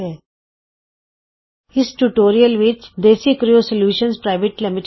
ਇਸ ਟਯੂਟੋਰਿਅਲ ਵਿਚ DesiCrew solutions private limited DesiCrew solutions PVT